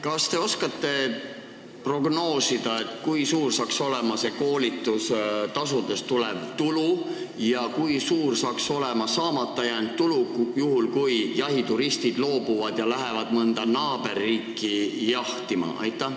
Kas te oskate prognoosida, kui suur saaks olema koolitustasudest tulev tulu ja kui suur saaks olema saamata jäänud tulu, juhul kui jahituristid loobuvad ja lähevad mõnda naaberriiki jahti pidama?